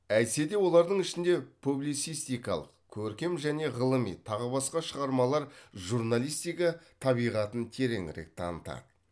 әйтсе де олардың ішінде публицистикалық көркем және ғылыми тағы басқа шығармалар журналистика табиғатын тереңірек танытады